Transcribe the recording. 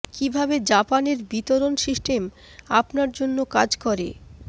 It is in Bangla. কিভাবে জাপান এর বিতরণ সিস্টেম আপনার জন্য কাজ করে